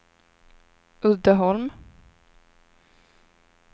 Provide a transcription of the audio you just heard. Uddeholm